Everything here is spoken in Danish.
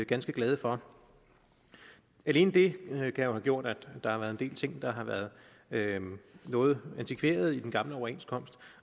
ganske glade for alene det kan jo have gjort at der har været en del ting der har været noget antikverede i den gamle overenskomst